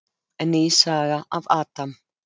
Ný saga af Adam.